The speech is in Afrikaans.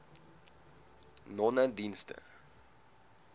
nonedienste